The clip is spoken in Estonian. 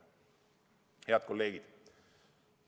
" Head kolleegid!